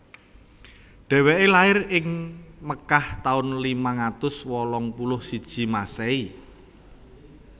Dhèwèké lair ing Makkah taun limang atus wolung puluh siji Masèhi